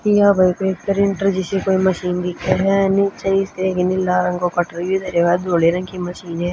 या भई कोई प्रिंटर जीसी कोई मशीन दिक्खे ह नीचे इसके एक नीला रंग को कटरियो धरया ह धोले रंग की मशीन ह।